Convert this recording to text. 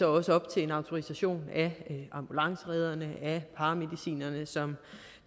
også op til en autorisation af ambulanceredderne af paramedicinerne som